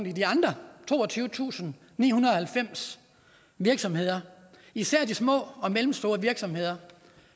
i de andre toogtyvetusinde og nihundrede og halvfems virksomheder især de små og mellemstore virksomheder